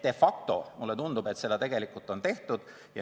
Nii et mulle tundub, et de facto on seda tegelikult juba tehtud.